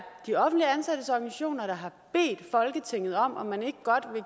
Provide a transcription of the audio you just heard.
de offentligt ansattes organisationer der har bedt folketinget om om man ikke godt vil